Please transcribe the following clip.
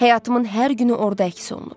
Həyatımın hər günü orda əks olunub.